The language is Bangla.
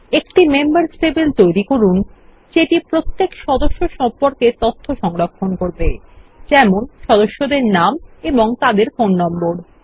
একটি মেম্বার্স টেবিল তৈরী করুন যেটি প্রত্যেক সদস্য সম্পর্কে তথ্য সংরক্ষণ করবে যেমন সদস্যদের নাম এবং তাদের ফোন নম্বর